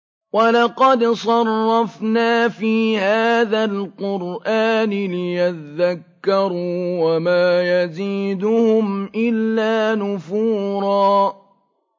وَلَقَدْ صَرَّفْنَا فِي هَٰذَا الْقُرْآنِ لِيَذَّكَّرُوا وَمَا يَزِيدُهُمْ إِلَّا نُفُورًا